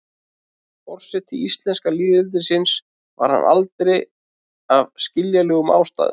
forseti íslenska lýðveldisins var hann aldrei af skiljanlegum ástæðum